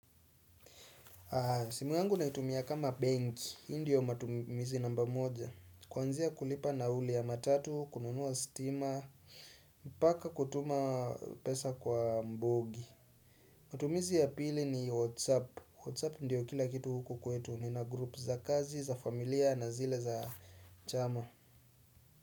Simu yangu naitumia kama bank, hii ndio matumizi namba moja kuanzia kulipa na huli ya matatu, kununua steamer, mpaka kutuma pesa kwa mbogi matumizi ya pili ni WhatsApp, WhatsApp ndio kila kitu huku kwetu nina group za kazi, za familia na zile za chama.